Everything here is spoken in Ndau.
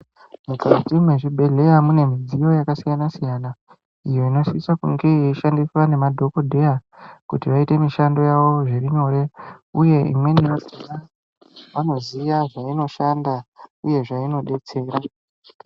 Mukati mezvibhedhleya mune midziyo yakasiyana-siyana iyo inosisa kunge yeishandiswa ngemadhokodheya kuti vaite mushda yavo zvirinyore, uye imweni yakhonsvanoziya zvainoshanda uye zveinodetsera.